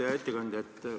Hea ettekandja!